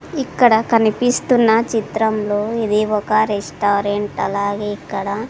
ఇక్కడ కనిపిస్తున్న చిత్రంలో ఇది ఒక రెస్టారెంట్ అలాగే ఇక్కడ--